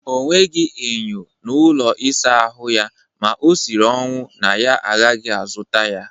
O nweghị enyo n'ụlọ ịsa ahụ ya ma o shiri ọnwụ na ya agaghị azụta ya